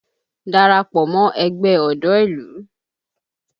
Darapọ̀ mọ ẹgbẹ́ ọ̀dọ́ ìlú!